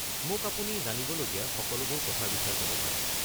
মোক আপুনি জানিবলগীয়া সকলোবোৰ কথাৰ বিষয়ে ক’ব পাৰে।